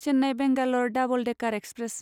Chennai Bangalore double decker express